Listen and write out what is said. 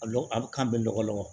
A lɔgɔ a bɛ kan bɛɛ lɔgɔ lɔgɔ